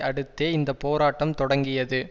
அடுத்தே இந்த போராட்டம் தொடங்கியது